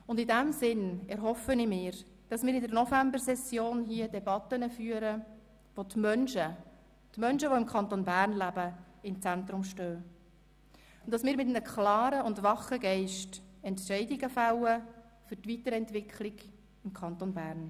In diesem Sinne erhoffe ich mir, dass wir in der Novembersession hier in diesem Rat Debatten führen, in denen die Menschen, die im Kanton Bern leben, im Zentrum stehen, und dass wir mit einem klaren und wachen Geist Entscheide fällen für die Weiterentwicklung im Kanton Bern.